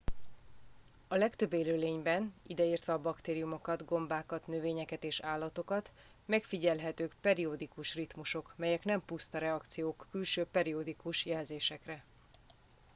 a legtöbb élőlényben ideértve a baktériumokat gombákat növényeket és állatokat megfigyelhetők periodikus ritmusok melyek nem puszta reakciók külső periodikus jelzésekre